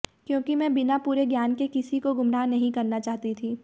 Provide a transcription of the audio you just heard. क्योंकि मैं बिना पूरे ज्ञान के किसी को गुमराह नहीं करना चाहती थी